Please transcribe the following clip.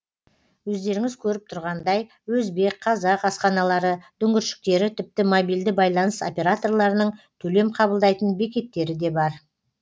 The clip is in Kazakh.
өздеріңіз көріп тұрғандай өзбек қазақ асханалары дүңгіршектері тіпті мобильді байланыс операторларының төлем қабылдайтын бекеттері де бар